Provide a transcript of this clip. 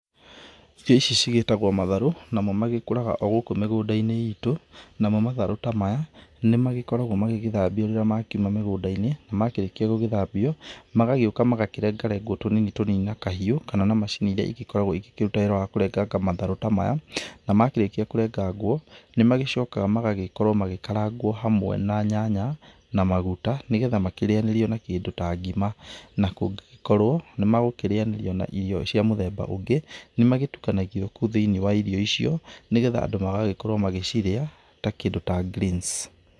Irio ici cigĩtagũo matharũ, namo magĩkũraga o gũkũ mĩgũnda-inĩ itũ. Namo matharũ ta maya, nĩmagĩkoragũo magĩgĩthambio rĩrĩa makiuma migunda-inĩ. Na makĩrĩkĩa gũgĩthambio magagĩũka magakĩrenga rengwo tũnini tũnini na kahiũ, kana na macini iria igokoragũo ikĩruta wira wa kũrenganga matharũ ta maya. Na makĩrĩkia kũrengangwo, nĩmagĩcokaga magagĩkorwo magĩkarangwo hamwe na nyanya na maguta nĩgetha makĩrĩanĩrio na kĩndũ ta ngima. Na kũngĩgĩkorwo nĩmagũkĩrĩanĩrĩo na irio cia mũthemba ũngĩ, nĩmagĩtukanagio kũu thĩini wa irio icio nĩgetha andũ magagĩkorwo magĩcirĩa ta kĩndũ ta greens